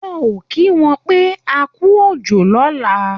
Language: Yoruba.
Wọ́n ò kí wọn pé akú òjò lọ̀la